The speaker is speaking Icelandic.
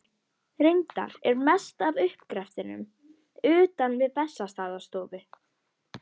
Reyndar er mest af uppgreftrinum utan við Bessastaðastofu.